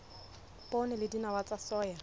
poone le dinawa tsa soya